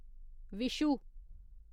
Vishu